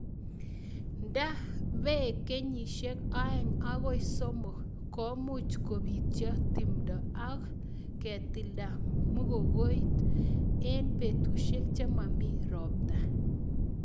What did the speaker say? Ndapek kenyishek aeng' agoi somok ,ko much kopityo tumdo ak ketilda mugongiot eng petushek che mami ropta